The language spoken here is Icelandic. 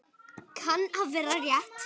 Kann að vera rétt.